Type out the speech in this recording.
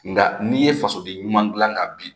Nka n'i ye fasoden ɲuman dilan ka bin